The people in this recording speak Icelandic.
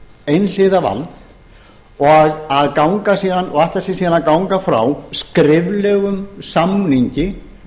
einhliða vald og ætlar sér síðan að ganga frá skriflegum samningi